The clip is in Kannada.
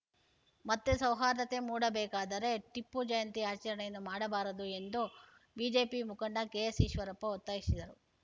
ಮತ್ತೆ ಸೌಹಾರ್ದತೆ ಮೂಡಬೇಕಾದರೆ ಟಿಪ್ಪು ಜಯಂತಿ ಆಚರಣೆಯನ್ನು ಮಾಡಬಾರದು ಎಂದು ಬಿಜೆಪಿ ಮುಖಂಡ ಕೆಎಸ್‌ಈಶ್ವರಪ್ಪ ಒತ್ತಾಯಿಸಿದರು